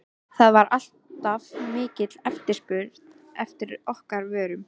það var alltaf mikil eftirspurn eftir okkar vörum.